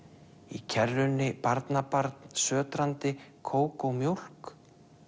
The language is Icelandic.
í kerrunni barnabarn kókómjólk